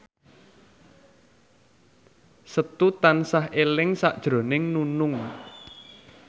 Setu tansah eling sakjroning Nunung